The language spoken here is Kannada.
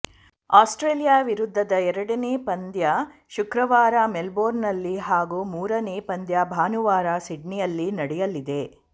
ಆಸ್ಟ್ರೇಲಿಯಾ ವಿರುದ್ಧದ ಎರಡನೇ ಪಂದ್ಯ ಶುಕ್ರವಾರ ಮೆಲ್ಬೋರ್ನ್ನಲ್ಲಿ ಹಾಗೂ ಮೂರನೇ ಪಂದ್ಯ ಭಾನುವಾರ ಸಿಡ್ನಿಯಲ್ಲಿ ನಡೆಯಲಿದೆ